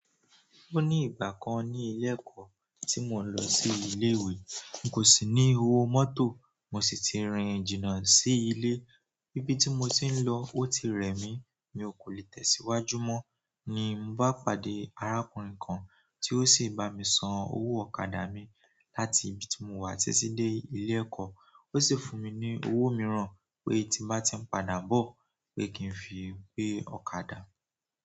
Ó ní ìgbà kan ní ilé ẹ̀kọ́ tí mò ń lọ sí ilé ìwé, n kò sì ní owó mọ́tò mo sì ti rìn jìnnà sí ilé. Íbí tí mo ti ń lọ ó ti rẹ̀ mí mi ò kò lè tẹ̀síwájú mọ́ ni mo bá pàdé arákùnrin kan tí ó sì bá mi san owó ọ̀kadà mi láti ibi tí mo wà tití dé ilé ẹ̀kọ́. Ó sì fún mi ní owó mìíràn pé tí n bá ti ń padà bọ̀ pé kí n fi gbé ọ̀kadà.